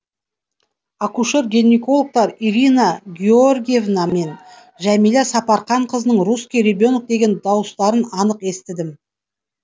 акушер гинекологтар ирина георгеевна мен жамиля сапарханқызының русский ребенок деген дауыстарын анық естідім